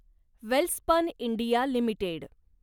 Welspun India limited